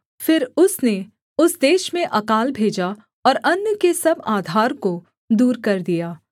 फिर उसने उस देश में अकाल भेजा और अन्न के सब आधार को दूर कर दिया